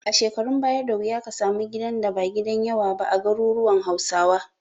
A shekarun baya, da wuya ka samu gidan da ba gidan yawa ba a garuruwan Hausawa.